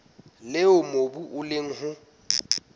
leo mobu o leng ho